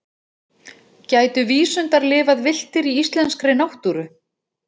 Gætu vísundar lifað villtir í íslenskri náttúru?